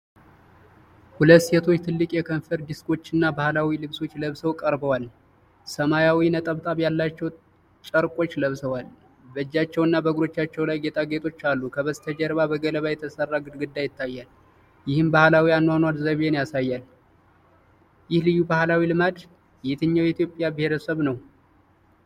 ሁለት ሴቶች ትልቅ የከንፈር ዲስኮችና ባህላዊ ልብሶች ለብሰው ቀርበዋል። ሰማያዊ ነጠብጣብ ያለባቸው ጨርቆች ለብሰዋል፤ በእጆቻቸውና በእግሮቻቸው ላይ ጌጣጌጦች አሉ። ከበስተጀርባ በገለባ የተሰራ ግድግዳ ይታያል፤ ይህም ባህላዊ የአኗኗር ዘይቤን ያሳያል። ይህ ልዩ ባህላዊ ልማድ የትኛው የኢትዮጵያ ብሔረሰብ ነው?